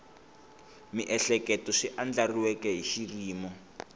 miehleketo swi andlariweke hi xiyimo